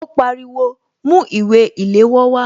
Ó pariwo "Mú ìwé ìléwọ́ wá"